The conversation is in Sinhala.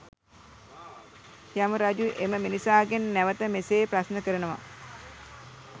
යම රජු එම මිනිසාගෙන් නැවත මෙසේ ප්‍රශ්න කරනව.